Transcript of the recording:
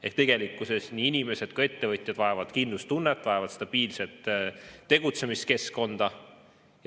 Ehk tegelikkuses nii inimesed kui ka ettevõtjad vajavad kindlustunnet, nad vajavad stabiilset tegutsemiskeskkonda.